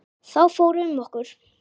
Þá fór um okkur.